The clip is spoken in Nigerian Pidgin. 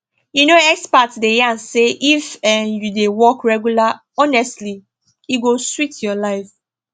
you know experts dey yarn say if um you dey walk regular honestly e go sweet your life